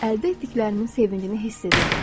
Əldə etdiklərimin sevincini hiss edirdim.